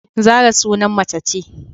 Zarah sunan mace ce